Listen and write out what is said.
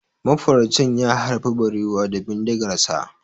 Mafaraucin ya harbi barewa da bindigarsa.